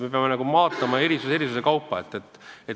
Me peame vaatama erisusi ühekaupa.